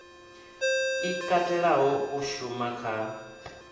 i katelaho u shuma kha